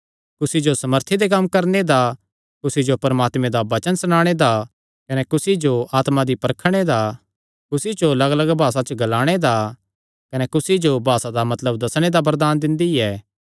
कुसी जो सामर्थी दे कम्म करणे दा कुसी जो परमात्मे दा वचन सणाणे दा कने कुसी जो आत्मा दी परखणे दा कुसी जो लग्गलग्ग भासा च ग्लाणे दा कने कुसी जो भासा दा मतलब दस्सणे दा वरदान दिंदी ऐ